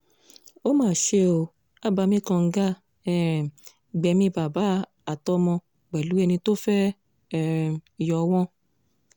ó mà ṣe ó abàmì kànga um gbẹ̀mí bàbá àtọmọ pẹ̀lú ẹni tó fẹ́ẹ́ um yọ wọ́n